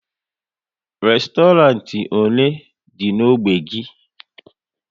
Restorant ole dị n'ógbè gị?